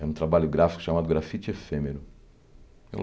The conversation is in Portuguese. Era um trabalho gráfico chamado Grafite Efêmero.